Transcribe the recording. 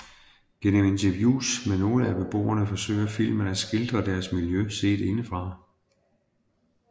Gennem interviews med nogle af beboerne forsøger filmen at skildre deres miljø set indefra